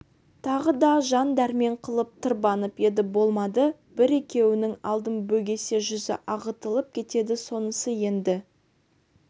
тағы да жан дәрмен қылып тырбанып еді болмады бір-екеуінің алдын бөгесе жүзі ағытылып кетеді сонысы енді